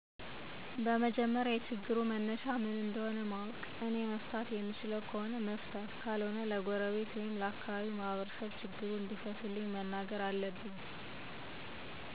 በመጀመሪያ የችግሩ መነሻ ምን እንደሆ ማወቅ እኔ መፍታት የምችለው ከሆነ መፍታት ካልሆነ ለጎረቤት ወይም ለአካባቢው ማህበርሰብ ችግሩን እንዲፈቱልኝ መናገር አለብኝ።